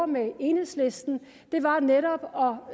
med enhedslisten netop